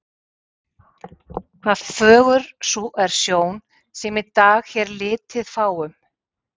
hvað fögur sú er sjón, sem í dag hér litið fáum.